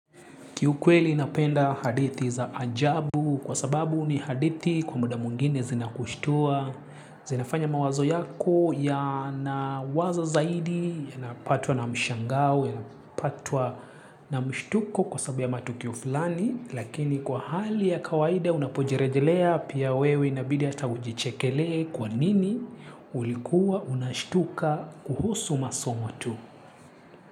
Kiukweli napenda hadithi za ajabu kwa sababu ni hadithi kwa muda mwingine zinakushtua. Zinafanya mawazo yako yana wazo zaidi, unapatwa na mshangao, yanapatwa na mshtuko kwa sababu ya matukio filani. Lakini kwa hali ya kawaida unapojerejelea pia wewe inabidi ata ujichekele kwa nini ulikuwa unashtuka kuhusu masomo tu.